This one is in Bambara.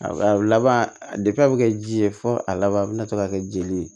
Laban a bɛ kɛ ji ye fo a laban a bɛna to ka kɛ jeli ye